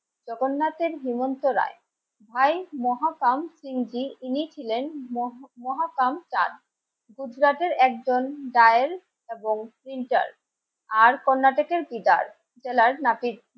জগন্নাথের হেমন্ত রায় ভাই মহাপাম সিংজি. ইনি ছিলেন মোহাম্মদ মহাপাম চাঁদ. গুজরাটের একজন ডায়েল, আর কর্ণাটকের ফিগার. নাপিত